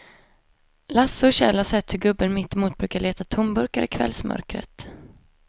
Lasse och Kjell har sett hur gubben mittemot brukar leta tomburkar i kvällsmörkret.